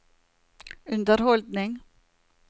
underholdning